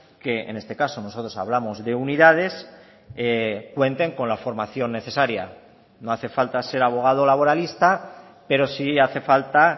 que en este caso nosotros hablamos de unidades cuenten con la formación necesaria no hace falta ser abogado laboralista pero sí hace falta